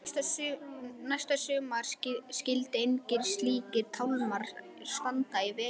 Næsta sumar skyldu engir slíkir tálmar standa í vegi.